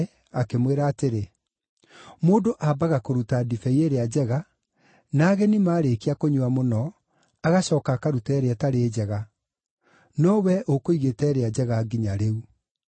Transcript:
akĩmwĩra atĩrĩ, “Mũndũ aambaga kũruta ndibei ĩrĩa njega, na ageni maarĩkia kũnyua mũno, agacooka akaruta ĩrĩa ĩtarĩ njega; no wee ũkũigĩte ĩrĩa njega nginya rĩu.”